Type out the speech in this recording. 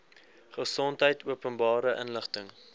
gesondheid openbare inligting